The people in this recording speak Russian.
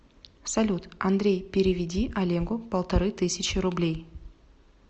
салют андрей переведи олегу полторы тысячи рублей